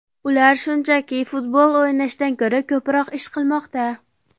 Ular shunchaki futbol o‘ynashdan ko‘ra ko‘proq ish qilmoqda.